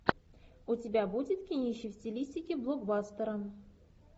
у тебя будет кинище в стилистике блокбастера